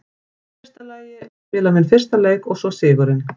Í fyrsta lagi að spila minn fyrsta leik og svo sigurinn.